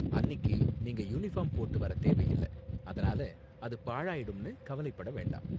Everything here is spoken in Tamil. அன்னிக்கு நீங்க யூனிபார்ம் போட்டு வர தேவையில்ல, அதனால அது பாழாயிடும்னு கவலைப்பட வேண்டாம்.